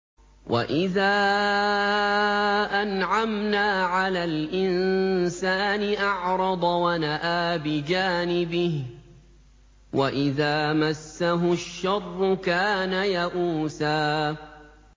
وَإِذَا أَنْعَمْنَا عَلَى الْإِنسَانِ أَعْرَضَ وَنَأَىٰ بِجَانِبِهِ ۖ وَإِذَا مَسَّهُ الشَّرُّ كَانَ يَئُوسًا